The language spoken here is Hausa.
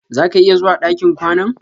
Zà ka iya zuwa ɗakin kwanan?